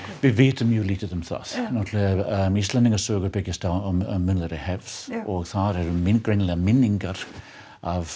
við vitum mjög lítið um það Íslendingasögur byggjast á munnlegri hefð og þar eru greinilegar minningar af